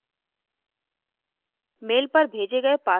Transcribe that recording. यहाँ login करें